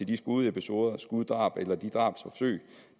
de skudepisoder skuddrab eller drabsforsøg